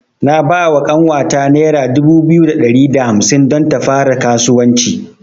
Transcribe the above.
Na bawa ƙanwata nera dubu biyu da ɗari da hamsin don ta fara kasuwanci.